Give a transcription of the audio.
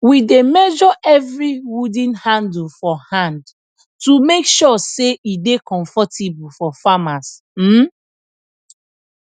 we dey measre evri wooden handle for hand to make sure say e dey comfortable for farmers um